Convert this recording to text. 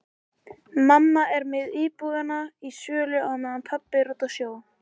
Mamma er með íbúðina í sölu á meðan pabbi er úti á sjó.